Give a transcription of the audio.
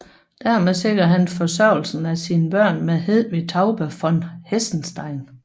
Dermed sikrede han forsørgelsen af sine børn med Hedvig Taube von Hessenstein